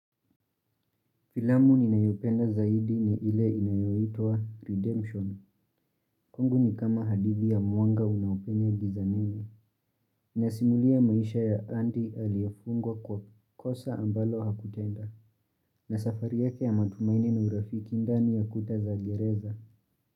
Filamu ninayopenda zaidi ni ile inayoitwa Redemption. Kwangu ni kama hadithi ya mwanga unaopenya giza nene. Inasimulia maisha ya Andy aliyefungwa kwa kosa ambalo hakutenda. Na safari yake ya matumaini na urafiki ndani ya kuta za gereza.